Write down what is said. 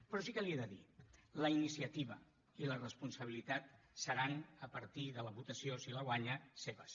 però sí que l’hi he de dir que la iniciativa i la responsabilitat seran a partir de la votació si la guanya seves